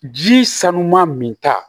Ji sanuya min ta